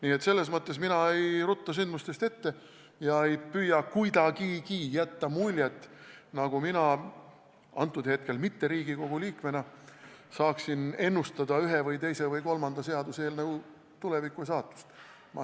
Nii et selles mõttes mina ei rutta sündmustest ette ja ei püüa kuidagigi jätta muljet, nagu mina – antud hetkel mitte Riigikogu liikmena – saaksin ennustada ühe või teise või kolmanda seaduseelnõu tulevikku ja saatust.